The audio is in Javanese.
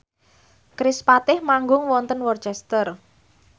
kerispatih manggung wonten Worcester